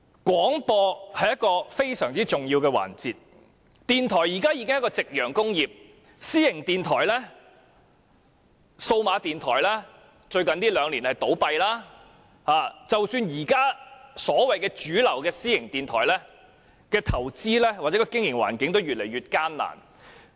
廣播是非常重要的環節，電台現時已是夕陽工業，私營電台和數碼電台在最近兩年也有倒閉的情況，即使是現時主流的私營電台，其投資或經營環境也越來越艱難。